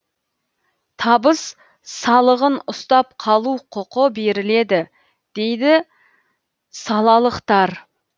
табыс салығын ұстап қалу құқы беріледі дейді салалықтар